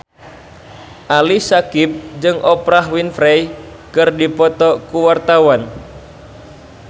Ali Syakieb jeung Oprah Winfrey keur dipoto ku wartawan